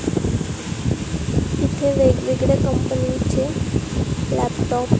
इथे वेगवेगळ्या कंपनी चे लॅपटॉप --